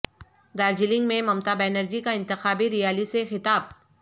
دارجلنگ میں ممتا بنرجی کا انتخابی ریالی سے خطاب